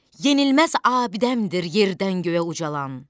Yenilməz abidəmdir yerdən göyə ucalan.